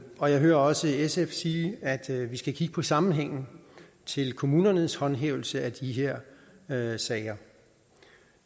og jeg hører også sf sige at vi skal kigge på sammenhængen til kommunernes håndhævelse af de her her sager